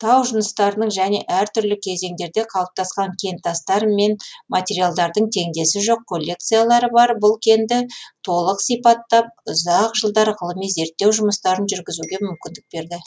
тау жыныстарының және әр түрлі кезеңдерде қалыптасқан кентастар мен материалдардың теңдесі жоқ коллекциялары бар бұл кенді толық сипаттап ұзақ жылдар ғылыми зерттеу жұмыстарын жүргізуге мүмкіндік берді